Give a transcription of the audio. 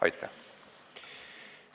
Aitäh!